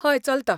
हय, चलता.